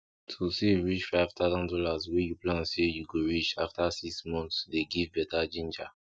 to save reach five taasand dollar wey you plan say you go reach after six month dey give better ginger